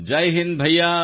Jai Hind ಸೋದರಾ